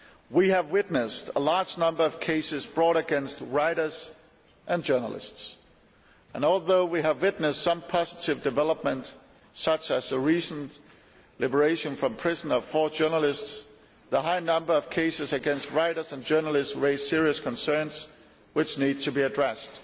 We have witnessed a large number of cases brought against writers and journalists, and although there have been some positive developments, such as the recent liberation from prison of four journalists, the high number of cases against writers and journalists raises serious concerns, which need to be addressed.